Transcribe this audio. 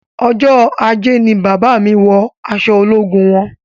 Ọjọ ajé ni bàbá mí wọ aṣọ ológun wọn